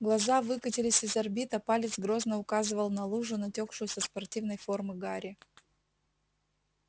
глаза выкатились из орбит а палец грозно указывал на лужу натёкшую со спортивной формы гарри